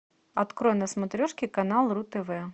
открой на смотрешке канал ру тв